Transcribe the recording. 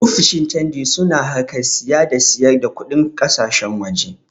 Ofishin cangi su na harkar saya da sayar da kuɗin ƙasashen waje